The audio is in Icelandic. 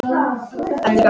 Önnur gögn.